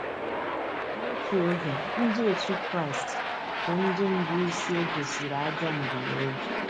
N’otu oge, Ndị otu Kraịst bụ ndị bụ́ isi e gosịrị ajọ mbunobi.